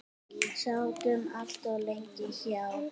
Sátu allt of lengi hjá.